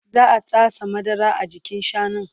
Za'a tatsa madara a jikin shanun